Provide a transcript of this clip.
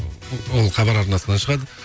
ол хабар арнасынан шығады